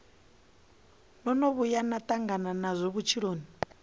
vhuya na tangana nazwo vhutshiloni